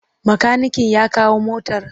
Makaniken ya kawo motar?